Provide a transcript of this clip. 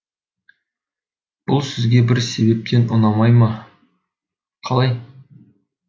бұл сізге бір себептен ұнамай ма қалай